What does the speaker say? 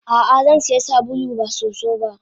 Ah ah Zansiya sabulu ba soso ba.